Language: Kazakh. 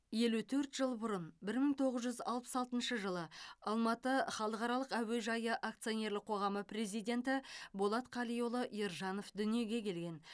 елу төрт жыл бұрын бір мың тоғыз жүз алпыс алтыншы жылы алматы халықаралық әуежайы акционерлік қоғамы президенті болат қалиұлы ержанов дүниеге келген